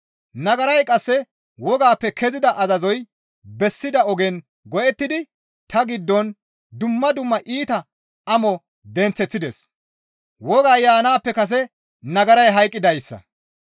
Nagaray qasse wogappe kezida azazoy bessida ogen go7ettidi ta giddon dumma dumma iita amo denththeththides; wogay yaanaappe kase nagaray hayqqidaaza.